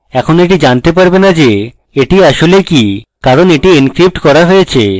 কিন্তু এখন এটি জানতে পারবে না এটি আসলে কি কারণ এটি encrypted করা রয়েছে